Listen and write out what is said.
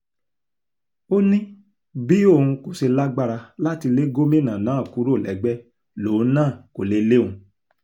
ó ní bí òun kò ṣe lágbára láti lé gómìnà náà kúrò lẹ́gbẹ́ lòun náà kó lè lé òun